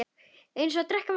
Eins og að drekka vatn.